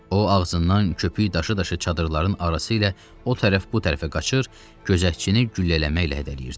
O ağzından köpük daşı-daşı çadırların arası ilə o tərəf bu tərəfə qaçır, gözətçini güllələməklə hədələyirdi.